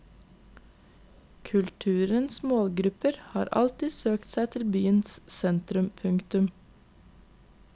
Kulturens målgrupper har alltid søkt seg til byens sentrum. punktum